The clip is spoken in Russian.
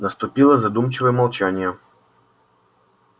наступило задумчивое молчание